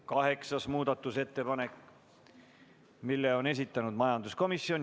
Kaheksanda muudatusettepaneku on esitanud majanduskomisjon.